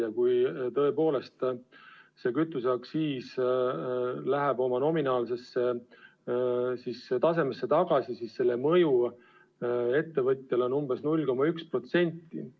Ja kui tõepoolest see kütuseaktsiis läheb oma endise tasemeni tagasi, siis selle mõju ettevõtjale on umbes 0,1%.